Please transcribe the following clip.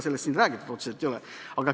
Sellest siin räägitud otseselt ei ole.